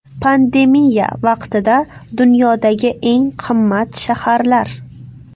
Pandemiya vaqtida dunyodagi eng qimmat shaharlar .